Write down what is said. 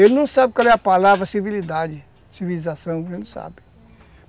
Ele não sabe qual é a palavra civilidade , civilização, ele não sabe.